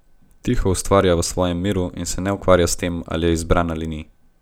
Tiho ustvarja v svojem miru in se ne ukvarja s tem, ali je izbran ali ni.